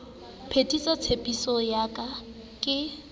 phethisa tshepiso ya ka ke